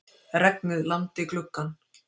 Regnið lamdi gluggann.